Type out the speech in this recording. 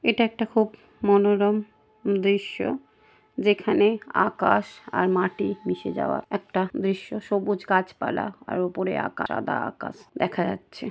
এটা একটা খুব মনোরম দৃশ্য যেখানে আকাশ আর মাটি মিশে যাওয়া একটা দৃশ্য সবুজ গাছপালা আর ওপরে আকার সাদা আকাশ দেখা যাচ্ছে।